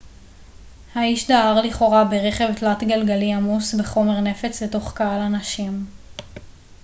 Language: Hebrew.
האיש דהר לכאורה ברכב תלת-גלגלי עמוס בחומר נפץ לתוך קהל אנשים